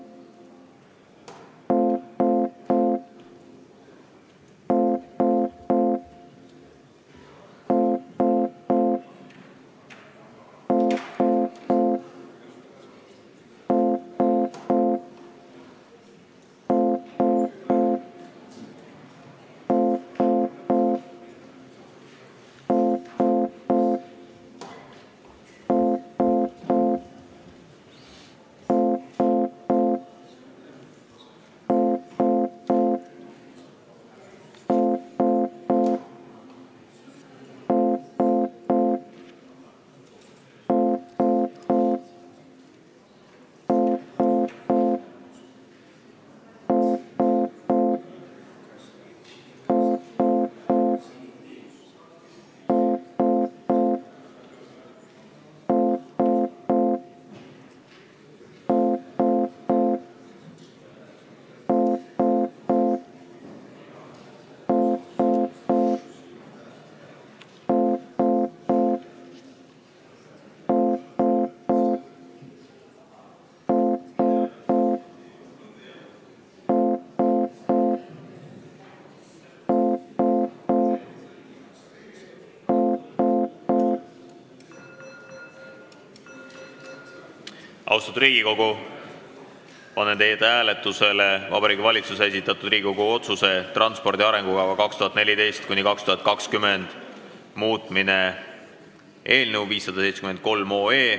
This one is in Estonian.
Austatud Riigikogu, panen hääletusele Vabariigi Valitsuse esitatud Riigikogu otsuse ""Transpordi arengukava 2014–2020" muutmine" eelnõu 573.